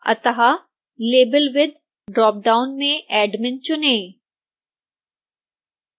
अतः label with drop down में admin चुनें